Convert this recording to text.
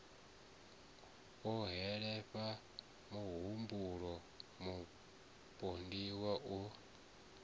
o holefhala muhumbuloni mupondiwa o